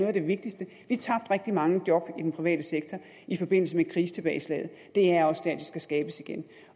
af det vigtigste vi tabte rigtig mange job i den private sektor i forbindelse med krisetilbageslaget det er også der de skal skabes igen